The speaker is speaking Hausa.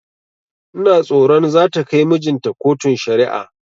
Ina tsoron zata kai mijinta kotun shari'a